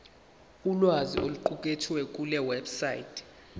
ulwazi oluqukethwe kulewebsite